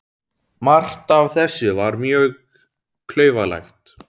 Margt af þessu var mjög klaufalegt.